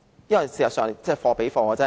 市民購物需要貨比貨。